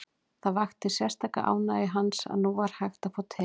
Það vakti sérstaka ánægju hans að nú var hægt að fá te.